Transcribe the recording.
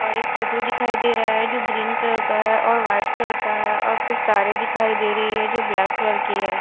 और एक टो टो दिखाई दे रहा है जो ग्रीन कलर का है और वाइट कलर का है और कुछ तारे दिखाई दे रही है जो ब्लैक कलर की है।